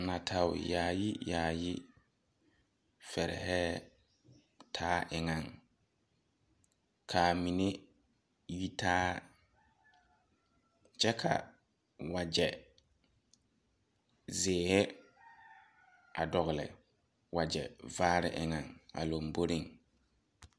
Natɛo yaayi yaayi fɛrihɛɛ taa eŋaŋ kaa mine yi taa kyɛ ka wagyɛ zeehi a dɔgle wagyɛ vaare eŋɛŋ a lomboriŋ.